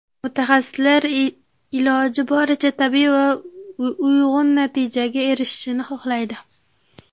Mutaxassislar iloji boricha tabiiy va uyg‘un natijaga erishishni xohlaydi.